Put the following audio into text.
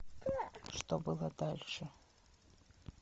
что было дальше